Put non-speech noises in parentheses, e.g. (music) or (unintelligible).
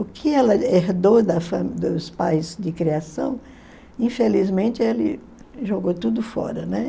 O que ela herdou da (unintelligible) dos pais de criação, infelizmente, ele jogou tudo fora, né?